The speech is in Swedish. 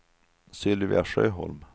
Sylvia Sjöholm